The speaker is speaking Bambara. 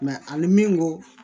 a ni min ko